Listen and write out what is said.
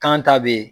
Kan ta bɛ ye